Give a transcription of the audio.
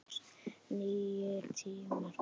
Nýir tímar komu.